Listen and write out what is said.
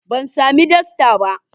Ban sami dastan ba.